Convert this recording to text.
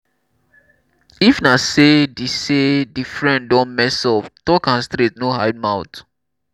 if na sey di sey di friend don mess up talk am straight no hide mouth